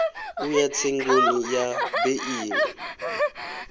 u ya tsengoni ya beili